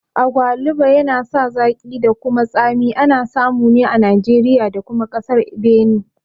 Agwaluba yana sa zaƙi da kuma tsami, ana samu ne a Nijeriya da kuma ƙasar Beni